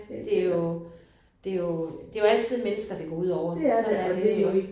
Det jo det jo det jo altid mennesker det går udover. Sådan er det jo iggås